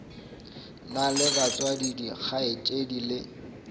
na le batswadi dikgaetšedi le